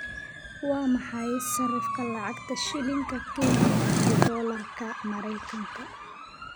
Waa maxay sarifka lacagta Shilinka Kenya iyo Doolarka Maraykanka?